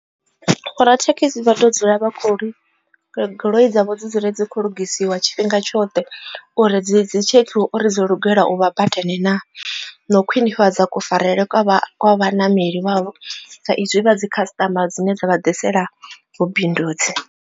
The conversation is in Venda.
Vho rathekhisi vha to dzula vha kho goloi dzavho dzi dzule dzi khou lugisiwa tshifhinga tshoṱhe uri dzi dzi tshekhiwa uri dzo lugelela u vha badani na na u khwinifhadza kufarelwe kwa vhaṋameli vhavho sa izwi vha dzi customer dzine dza vha ḓisela vhubindudzi.